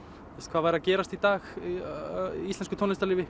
hvað væri að gerast í dag í íslensku tónlistarlífi